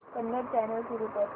Kannada channel सुरू कर